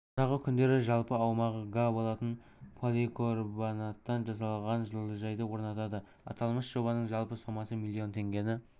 алдағы күндері жалпы аумағы га болатын поликорбанаттан жасалған жылыжайды орнатады аталмыш жобаның жалпы сомасы миллион теңгені